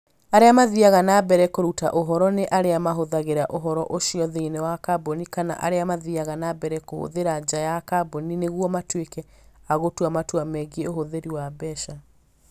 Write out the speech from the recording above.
Arĩa mathiaga na mbere kũruta ũhoro nĩ arĩa mahũthagĩra ũhoro ũcio thĩinĩ wa kambuni kana arĩa mathiaga na mbere kũũhũthĩra nja ya kambuni nĩguo matuĩke a gũtua matua megiĩ ũhũthĩri wa mbeca.